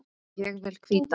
Ég vil hvíta.